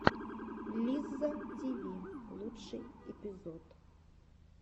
лизза тиви лучший эпизод